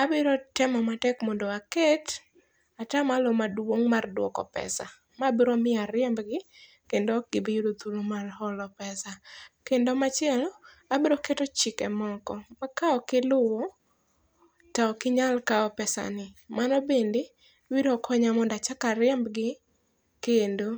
abiro temo matek mondo aket ata malo maduong' mar dwoko pesa. Ma biro miyo ariemb gi kendo ok bi yudo thuplo mar holo pesa. Kendo machielo abiro keto chike moko ma ka ok iluwo to ok inyal kaw pesa ni. Mano bende biro konya mondo achakl ariemb gi kendo.